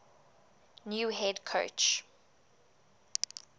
new head coach